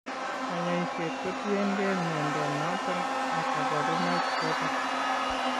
Kanyaiset ko tien gee mnyondo noton ag kabarunaik choton